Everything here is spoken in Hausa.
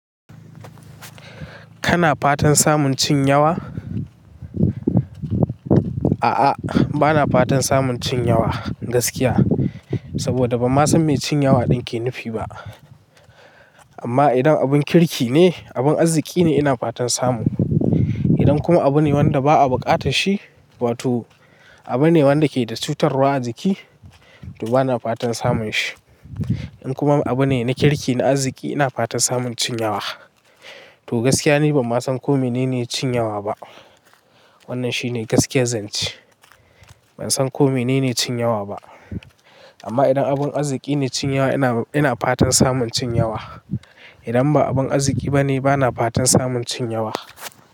Kana fatan samun cin yawa? A'a, bana fatan samun cin yawa gaskiya. Saboda ban ma san me cin yawa ɗin ke nufi ba. Amma idan abin kirki ne, abin arziki ne ina fatan samu. Idan kuma abu ne wanda ba a bukata shi, wato abu ne wanda ke da cutarwa a jiki, to bana fatan samun shi. In kuma abu ne na kirki na arziki ina fatan samun cin yawa. To gaskiya ne ban ma san ko mene ne cin yawa ba. Wannan shine gaskiyar zance. Ban san ko mene ne cin yawa ba. Amma idan abin arziki ne cin yawa ina, ina fatan samun cin yawa. Idan ba abin arziki ba ne bana fatan samun cin yawa.